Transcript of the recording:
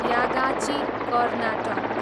Yagachi, Karnataka